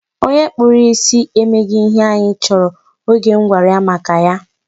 Onye kpụrụ ya isi emeghị ihe anyị chọrọ oge m gwara ya maka ya.